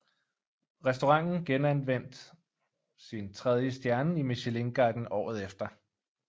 Restauranten genvandt sin tredje stjerne i Michelinguiden året efter